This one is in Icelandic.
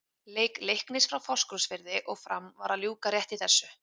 Leik Leiknis frá Fáskrúðsfirði og Fram var að ljúka rétt í þessu.